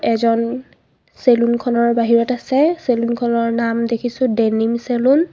এজন চেলুন খনৰ বাহিৰত আছে চেলুন খনৰ নাম দেখিছোঁ ডেনিম চেলুন .